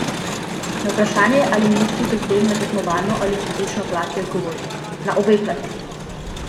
Na vprašanje, ali misli pri tem na tekmovalno ali fizično plat, je odgovoril: "Na obe plati.